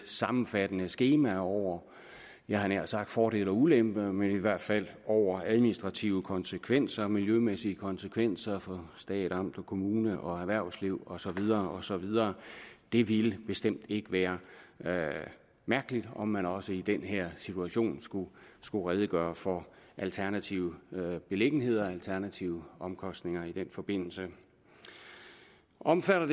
sammenfattende skema over jeg havde nær sagt fordele og ulemper men i hvert fald over administrative konsekvenser miljømæssige konsekvenser for stat amt og kommune og erhvervsliv og så videre og så videre det ville bestemt ikke være mærkeligt om man også i den her situation skulle skulle redegøre for alternative beliggenheder alternative omkostninger i den forbindelse omfatter